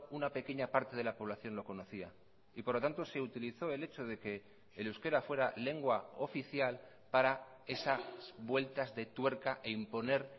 una pequeña parte de la población lo conocía y por lo tanto se utilizó el hecho de que el euskera fuera lengua oficial para esas vueltas de tuerca e imponer